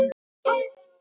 að ég var til.